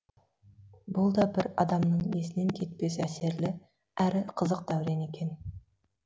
бұл да бір адамның есінен кетпес әсерлі әрі қызық дәурен екен